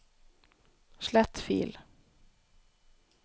slett fil